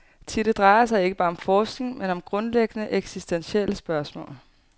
Thi, det drejer sig ikke bare om forskning, men om grundlæggende, eksistentielle spørgsmål.